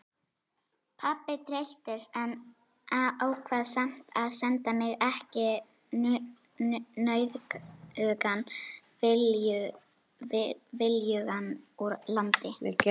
Pabbi trylltist en ákvað samt að senda mig ekki nauðugan viljugan úr landi.